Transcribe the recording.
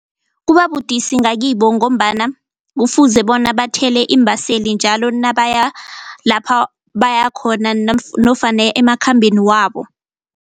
Kubabudisi ngakibo ngombana kufuze bona bathele iimbaseli njalo nabaya lapha bayakhona nofana emakhambeni wabo.